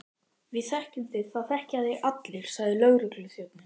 Við þekkjum þig, það þekkja þig allir sagði lögregluþjónninn.